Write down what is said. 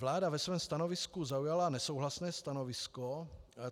Vláda ve svém stanovisku zaujala nesouhlasné stanovisko.